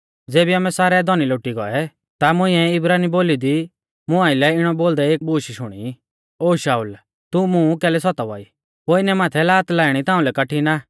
ज़ेबी आमै सारै धौनी लोटी गौऐ ता मुंइऐ इब्रानी बोली दी मुं आइलै इणौ बोलदै एक बूश शुणी ओ शाऊल ओ शाऊल तू मुं कैलै सतावा ई पोइनै माथै लात लाइणी ताउंलै कठिण आ